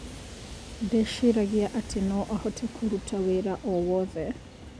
Ndeciragia atĩ no ahote kũruta wĩra o wothe